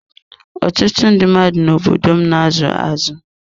Ọtụtụ ndị mmadụ n'obodo m na azụ azụ.